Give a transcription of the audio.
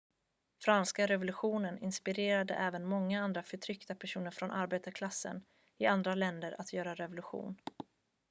franska revolutionen inspirerade även många andra förtryckta personer från arbetarklassen i andra länder att göra revolution